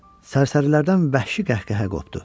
Sərsərilərdən vəhşi qəhqəhə qopdu.